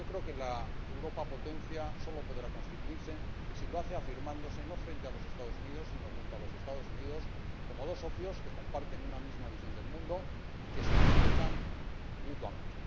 Yo creo que la Europa potencia sólo podrá constituirse si lo hace afirmándose no frente a los Estados Unidos, sino junto a los Estados Unidos, como dos socios que comparten una misma visión del mundo y que se respetan mutuamente.